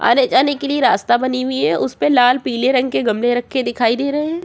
आने-जाने के लिए रास्ता बनी हुई है उसपे लाल पीले रंग के गमले रखे हुए दिखाई दे रहे हैं।